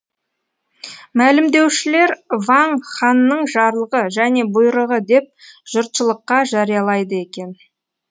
мәлімдеушілер ваң ханның жарлығы және бұйрығы деп жұртшылыққа жариялайды екен